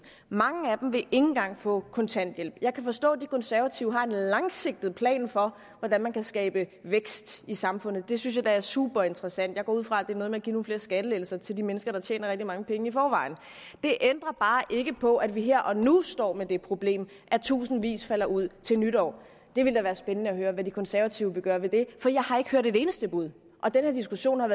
mange af dem vil ikke engang få kontanthjælp jeg kan forstå at de konservative har en langsigtet plan for hvordan man kan skabe vækst i samfundet det synes jeg da er superinteressant jeg går ud fra at det er noget med at give nogle flere skattelettelser til de mennesker der tjener rigtig mange penge i forvejen det ændrer bare ikke på at vi her og nu står med det problem at tusindvis falder ud af systemet til nytår det ville da være spændende at høre hvad de konservative vil gøre ved det for jeg har ikke hørt et eneste bud den her diskussion er